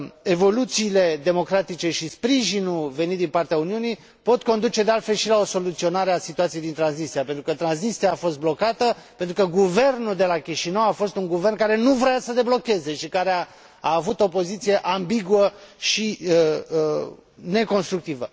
Evoluțiile democratice și sprijinul venit din partea Uniunii pot conduce, de altfel, și la o soluționare a situației din Transnistria, pentru că Transnistria a fost blocată, pentru că guvernul de la Chișinău a fost un guvern care nu vroia să deblocheze și care a avut o poziție ambiguă și neconstructivă.